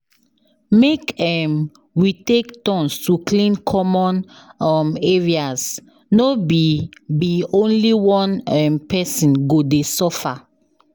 Make um we take turns to clean common um areas, no be be only one um pesin go dey suffer.